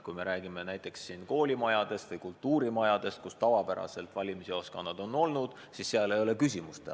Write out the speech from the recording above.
Kui räägime näiteks koolimajadest või kultuurimajadest, kus valimisjaoskonnad tavaliselt on asunud, siis seal ei ole küsimustki.